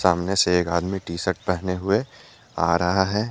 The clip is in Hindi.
सामने से एक आदमी टी शर्ट पहने हुए आ रहा है।